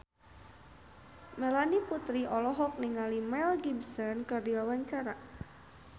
Melanie Putri olohok ningali Mel Gibson keur diwawancara